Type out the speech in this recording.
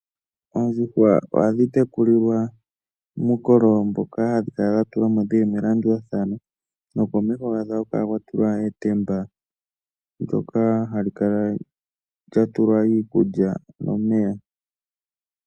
Oondjuhwa ohadhi tekulilwa muukololo mboka hawu kala wa tulwa mo dhi li melandulathano nokomeho ohaku kala kwa tulwa etemba ndyoka hali kala lya tulwa iikulya nomeya.